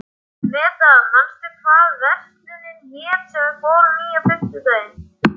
Meda, manstu hvað verslunin hét sem við fórum í á fimmtudaginn?